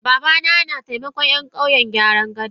Babana na taimakan Yan kauyen gyaran gadan.